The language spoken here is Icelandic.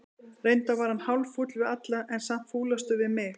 Reyndar var hann hálffúll við alla, en samt fúlastur við mig.